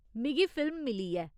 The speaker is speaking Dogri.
मिगी फिल्म मिली ऐ।